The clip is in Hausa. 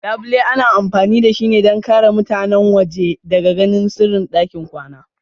Labule ana amfani da shi don ƙare mutane waje daga ganin sirrin ɗakin kwana.